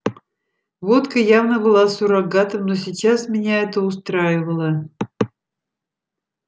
водка явно была суррогатом но сейчас меня это устраивало